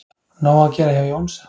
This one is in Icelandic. Nóg að gera hjá Jónsa